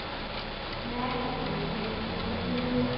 ਮੈਂ ਠੀਕ ਹਾਂ ਨਿੱਧੀ, ਤੁਸੀਂ ਕਿਵੇਂ ਹੋ?